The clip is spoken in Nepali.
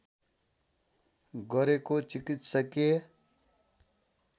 गरेको चिकित्सकीय